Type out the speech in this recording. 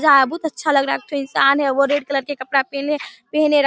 जा बहुत अच्छा लग रहा है एक ठो इंसान है वो रेड कलर के कपड़ा पहने पहने--